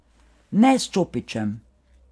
Ne s čopičem.